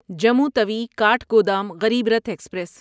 Jammu Tawi Kathgodam Garib Rath express